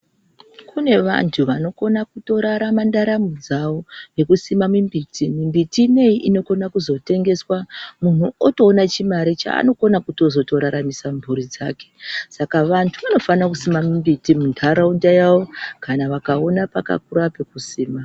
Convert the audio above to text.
Kune vantu vanokona kutorama mundaramo dzawo nekusime mumbuti mumbiti ineyi inokona kutozotengeswa muntu otoona chimare chaanokona kutozotoraramisa mhuri dzake saka antu anofana kusima mumbiti muntaraunda yawo kana akaona pakakura pekusima.